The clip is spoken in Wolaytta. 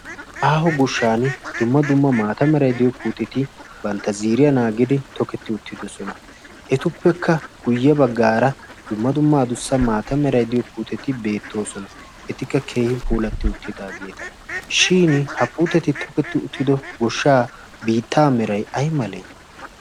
aaho goshshan dumma dumma maata merai diyo puuteti bantta ziiriya naagidi toketti uttidosona etuppekka guyye baggaara dumma dumma dussa maata meray diyo puuteti beettoosona etikka keehi puulatti uttidaageeta shin ha puuteti toketti uttido goshshaa biittaa meray ay malee